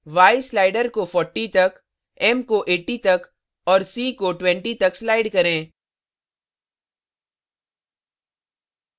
y slider को 40 तक m को 80 तक और और c को 20 तक slide करें